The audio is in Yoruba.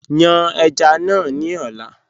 Yàn èjá náà ni ọ̀lá